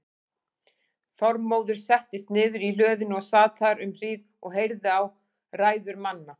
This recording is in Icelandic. Þormóður settist niður í hlöðunni og sat þar um hríð og heyrði á ræður manna.